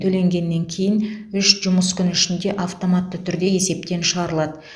төлегеннен кейін үш жұмыс күн ішінде автоматты түрде есептен шығарылады